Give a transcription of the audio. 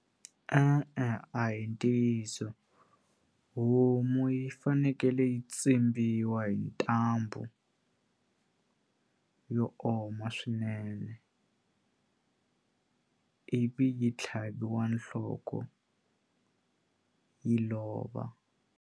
E-e a hi ntiyiso homu yi fanekele yi tsimbiwa hi ntambu yo oma swinene ivi yi tlhaviwa nhloko yi lova.